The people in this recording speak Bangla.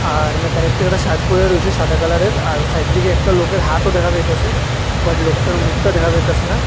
আর মেকানিকটা একটা শার্ট পইরা রয়েছে সাদা কালারের আর সাইডের দিকে একটা লোকের হাতও দেখা যাইতাসে বাট লোকটার মুখটা দেখা যাইতাসে না।